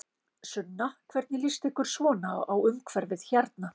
Sunna: Hvernig lýst ykkur svona á umhverfið hérna?